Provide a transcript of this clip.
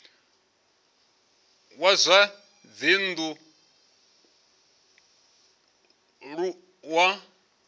wa zwa dzinn ḓu wa